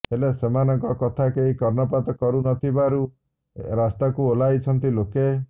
ହେଲେ ସେମାନଙ୍କ କଥା କେହି କର୍ଣ୍ଣପାତ କରୁ ନ ଥିବାରୁ ରାସ୍ତାକୁ ଓହ୍ଲାଇଛନ୍ତି ଲୋକେ